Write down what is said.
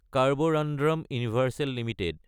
Carborundum Universal Ltd